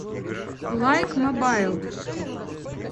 лайк мобайл